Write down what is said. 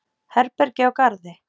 Herbergi á Garði.